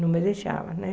Não me deixava, né?